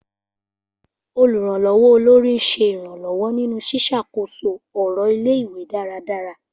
Olùrànlọ́wọ́ Olórí ń ṣe ìrànlọ́wọ́ nínú ṣíṣàkóso ọ̀rọ̀ ilé-ìwé dáradára.